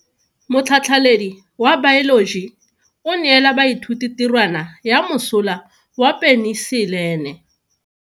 Motlhatlhaledi wa baeloji o neela baithuti tirwana ya mosola wa peniselene.